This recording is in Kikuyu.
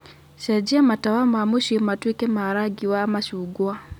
cenjia matawa ma mũciĩ matuĩke ma rangi wa machungwa